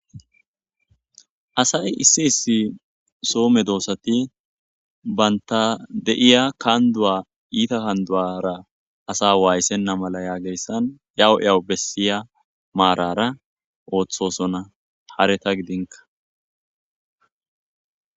Asay issi issi so medosati banta deio kandoa ita kanduara asa wayisena mala yagiyaysan eyawu eyawu besiy marara otosona hareta gidinka.